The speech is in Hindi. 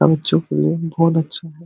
अर जो प्लेन बहुत अच्छा हैं।